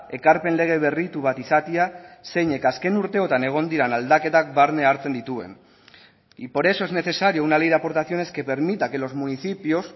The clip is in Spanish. ekarpen lege berritu bat izatea zeinek azken urteotan egon diren aldaketak barne hartzen dituen y por eso es necesario una ley de aportaciones que permita que los municipios